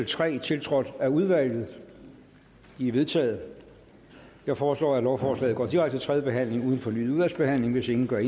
tre tiltrådt af udvalget de er vedtaget jeg foreslår at lovforslaget går direkte til tredje behandling uden fornyet udvalgsbehandling hvis ingen gør